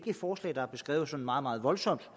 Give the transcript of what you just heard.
et forslag der er beskrevet sådan meget meget voldsomt